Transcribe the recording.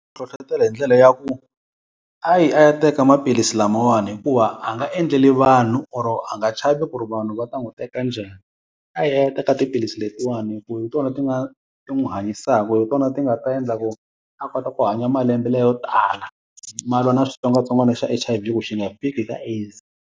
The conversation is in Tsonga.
Ku hlohlotela hi ndlela ya ku, a yi a ya teka maphilisi lamawani hikuva a nga endleli vanhu or a nga chavi ku ri vanhu va ta n'wi teka njhani. A yi a ya teka tiphilisi letiwani hi ku hi tona ti nga ti n'wi hanyisaka hi tona ti nga ta endla ku a kota ku hanya malembe layo tala, ma lwa na xitsongwatsongwana xa H_I_V ku xi nga fiki ka AIDS.